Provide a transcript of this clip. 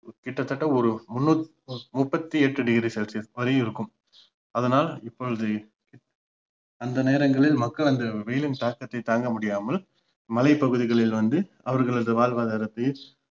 கிட்ட தட்ட ஒரு முண்~ முப்பத்தி எட்டு degree celcius வரை இருக்கும் அதனால் இப்பொழுது அந்த நேரங்களில் மக்கள் அந்த வெயிலின் தாக்கத்தை தாங்க முடியாமல் மழை பகுதிகளில் வந்து அவர்களது வாழ்வாதாரத்தையும்